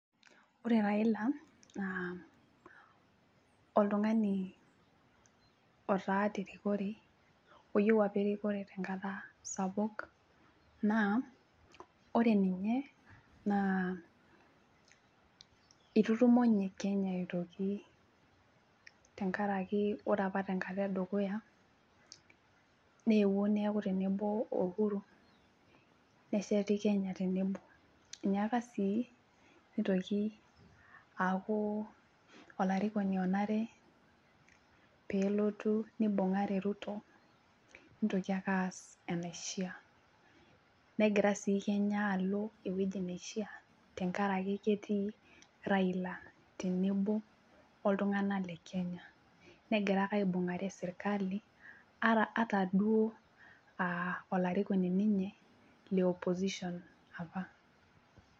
Ore Raila naa oltung'ani otaa terikore oyieu apa erikore tenkata sapuk naa ore ninye naa itutumo ninye kenya aitoki tenkaraki ore apa tenkata edukuya neyeuo neeku tenebo o Uhuru nesheti kenya tenebo enyaaka sii nitoki aaku olarikoni onare pelotu nibung'are Ruto nitoki ake aas enaishia negira sii kenya alo ewueji neishia tenkaraki ketii Raila tenebo oltung'anak le kenya negira aibung'are sirkali ara ata duo uh olarikoni ninye le opposition apa.